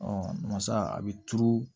masa a bɛ turu